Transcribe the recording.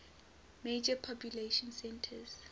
major population centers